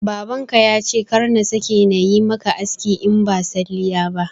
Baban ka yace kar na sake nayi maka aski in ba salliya ba